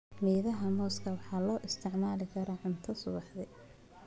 Midhaha mooska waxaa loo isticmaali karaa cunto subaxdii.